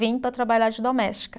Vim para trabalhar de doméstica.